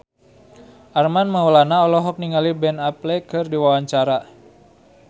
Armand Maulana olohok ningali Ben Affleck keur diwawancara